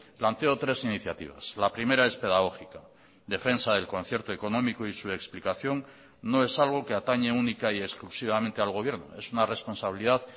planteo tres iniciativas la primera es pedagógica defensa del concierto económico y su explicación no es algo que atañe única y exclusivamente al gobierno es una responsabilidad